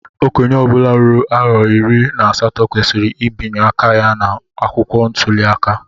Okenye obula ruru arọ iri na asatọ kwesịrị ịbianye aka ya na akwụkwọ ntuli aka.